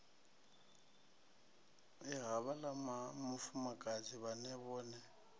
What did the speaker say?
ya havhaḽa mufumakadzi vhaṅe vhone